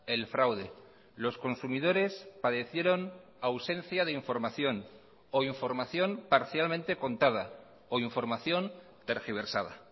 el fraude los consumidores padecieron ausencia de información o información parcialmente contada o información tergiversada